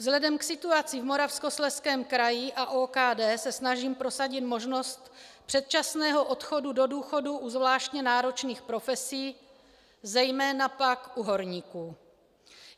Vzhledem k situaci v Moravskoslezském kraji a OKD se snažím prosadit možnost předčasného odchodu do důchodu u zvláště náročných profesí, zejména pak u horníků.